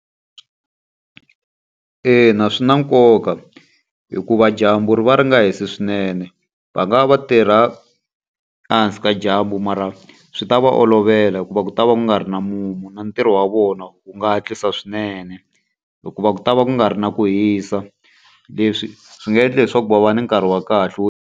Ina swi na nkoka hikuva dyambu ri va ri nga hisi swinene. Va nga va va tirha ehansi ka dyambu mara swi ta va olovela hikuva ku ta va ku nga ri na mumu. Na ntirho wa vona wu nga hatlisa swinene hikuva ku ta va ku nga ri na ku hisa. Leswi swi nga endla leswaku va va ni nkarhi wa kahle wo.